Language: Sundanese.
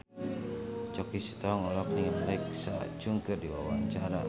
Choky Sitohang olohok ningali Alexa Chung keur diwawancara